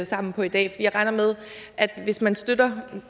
sammen på i dag jeg regner med at hvis man støtter